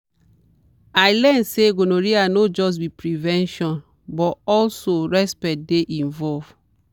i learn say gonorrhea no just be prevention but also respect dey involved.